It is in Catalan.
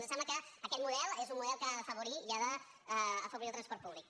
ens sembla que aquest model és un model que ha d’afavorir i ha d’afavorir el transport públic